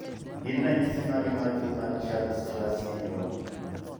Gin ranyisi mage mar tuo Churg Strauss syndrome?